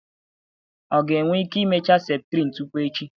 ọ ga-enwe ike imecha septrin tupu echi?